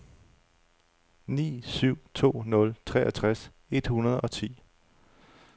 ni syv to nul treogtres et hundrede og ti